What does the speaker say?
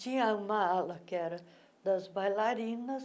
Tinha uma ala que era das bailarinas,